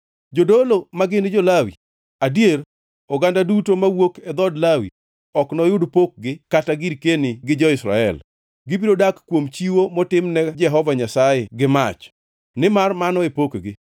Jodolo, magin jo-Lawi, adier oganda duto mawuok e dhood Lawi ok noyud pokgi kata girkeni gi jo-Israel. Gibiro dak kuom chiwo motimne Jehova Nyasaye gi mach, nimar mano e pokgi.